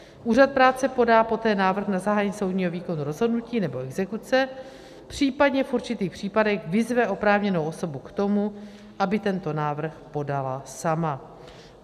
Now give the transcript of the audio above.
Úřad práce podá poté návrh na zahájení soudního výkonu rozhodnutí nebo exekuce, případně v určitých případech vyzve oprávněnou osobu k tomu, aby tento návrh podala sama.